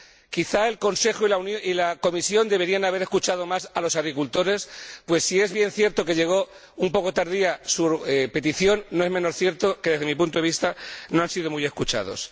Quizá el Consejo y la Comisión deberían haber escuchado más a los agricultores, pues si bien es cierto que llegó un poco tardía su petición, no es menos cierto que, desde mi punto de vista, no han sido muy escuchados.